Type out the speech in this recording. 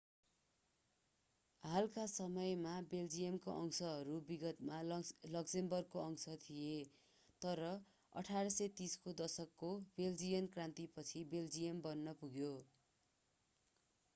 हालका समयमा बेल्जियमका अंशहरू विगतमा लक्जमबर्गको अंश थिए तर 1830 को दशकको बेल्जियन क्रान्तिपछि बेल्जियम बन्न पुग्यो